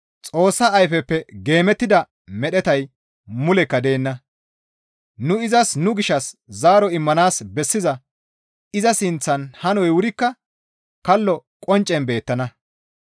Xoossa ayfeppe geemettida medhetay mulekka deenna; nu izas nu gishshas zaaro immanaas bessiza iza sinththan hanoy wurikka kallo qonccen beettana.